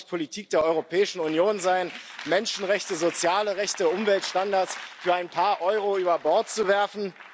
Es kann doch nicht Politik der Europäischen Union sein, Menschenrechte, soziale Rechte, Umweltstandards für ein paar Euro über Bord zu werfen!